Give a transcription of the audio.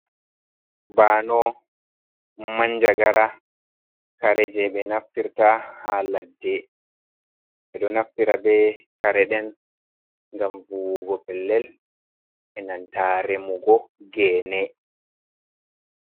Banow manjagara. kare jei ɓe naftirta ha ladde. Ɓe ɗo naftira be kare ɗen ngam vuwugo pellel e nanta remugo gene.